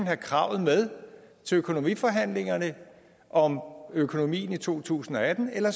have kravet med til økonomiforhandlingerne om økonomien i to tusind og atten eller